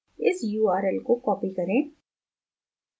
इस url को copy करें